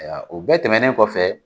O bɛɛ tɛmɛnnen kɔfɛ